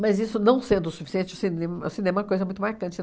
Mas isso não sendo o suficiente, o cinem o cinema é uma coisa muito marcante.